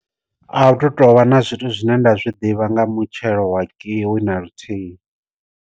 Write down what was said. A hu tu tovha na zwithu zwine nda zwi ḓivha nga mutshelo wa kiwi na luthihi.